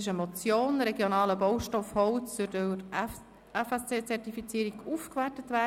«Regionaler Baustoff Holz soll durch FSC-Zertifizierung aufgewertet werden».